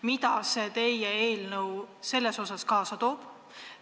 Mida see teie eelnõu siin kaasa toob?